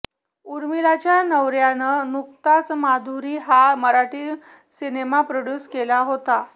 उर्मिलाच्या नवऱ्यानं नुकताच माधुरी हा मराठी सिनेमा प्रोड्युस केला होता